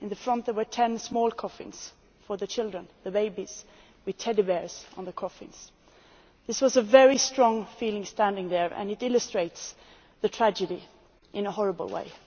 At the front there were ten small coffins for the children the babies with teddy bears on the coffins. It was a very strong feeling standing there, and it illustrates the tragedy in a horrible way.